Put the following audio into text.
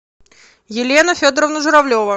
елена федоровна журавлева